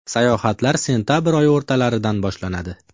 Sayohatlar sentabr oyi o‘rtalaridan boshlanadi.